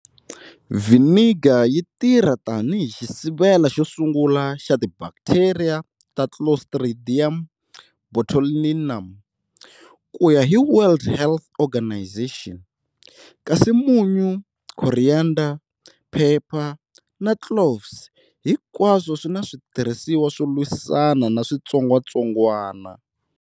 Vinegar yi tirha tani hi xisivela xosungula xa ti bacteria ta "Clostridium botulinum", kuya hi World Health Organization, kasi munyu, coriander, pepper, na cloves hinkwaswo swina switirhisiwa swo lwisana na switsongwatsongwana.